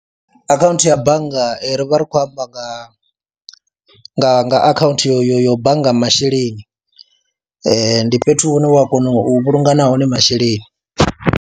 Akhaunthu ya bannga ri vha ri khou amba nga nga nga akhaunthu yo bannga masheleni, ndi fhethu hune u a kona u vhulunga nahone masheleni.